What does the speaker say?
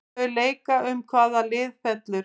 Þau leika um hvaða lið fellur.